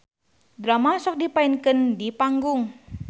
Drama sok dipaenkeun di panggung.